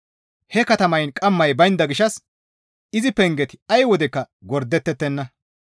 He katamayn qammay baynda gishshas izi pengeti ay wodekka gordettettenna.